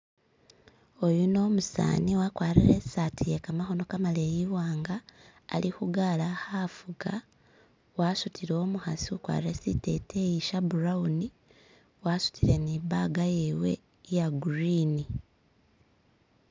Uyuno umusani wakwarire isati yekamakhono kamaleyi iwaanga ali khugali a'khafuga, wasutile umukhasi ukwalire siteteyi shya brown wasutile ni i'bag yewe iya green.